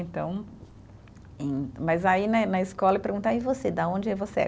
Então, e mas aí né, na escola perguntava, e você, de onde você é?